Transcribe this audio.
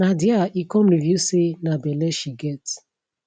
na dia e come reveal say na belle she get